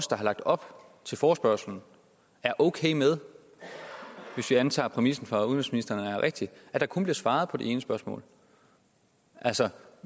der har lagt op til forespørgslen er okay med hvis vi antager at præmissen fra udenrigsministeren er rigtig at der kun bliver svaret på det ene spørgsmål altså